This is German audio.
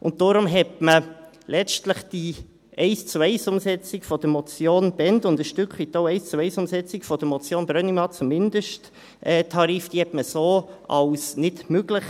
Deshalb erachtete man letztlich die Eins-zu-eins-Umsetzung der Motion Bhend – und ein Stück weit auch die Eins-zu-eins-Umsetzung der Motion Brönnimann zum Mindesttarif – als nicht möglich.